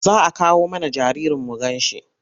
Za a kawo mana jaririn mu ganshi?